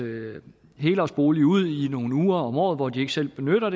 helårsbolig ud i nogle uger om året hvor de ikke selv benytter